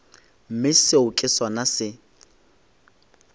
mme seo ke sona se